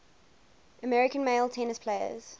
american male tennis players